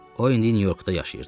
O indi Nyu-Yorkda yaşayırdı.